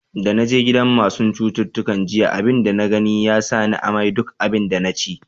Da na je gidan masun citutuka jiya, abin da na gani ya sa ni amai duk abin da na ci.